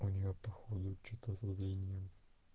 у неё походу что-то со зрением